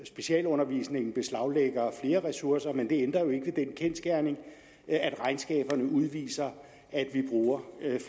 specialundervisningen beslaglægger flere ressourcer men det ændrer jo ikke ved den kendsgerning at regnskaberne viser at vi bruger